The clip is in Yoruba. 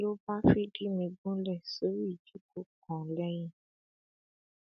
ló bá fìdí mi gúnlẹ sórí ìjókòó kan lẹyìn